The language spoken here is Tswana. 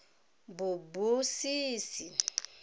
bobusisi